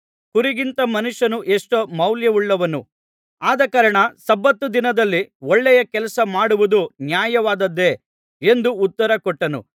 ಕುರಿಗಿಂತ ಮನುಷ್ಯನು ಎಷ್ಟೋ ಮೌಲ್ಯವುಳ್ಳವನು ಆದಕಾರಣ ಸಬ್ಬತ್ ದಿನದಲ್ಲಿ ಒಳ್ಳೆಯ ಕೆಲಸ ಮಾಡುವುದು ನ್ಯಾಯವಾದದ್ದೆ ಎಂದು ಉತ್ತರ ಕೊಟ್ಟನು